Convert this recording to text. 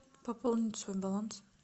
пополнить свой баланс